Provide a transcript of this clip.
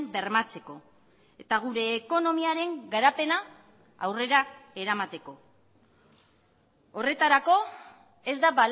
bermatzeko eta gure ekonomiaren garapena aurrera eramateko horretarako ez da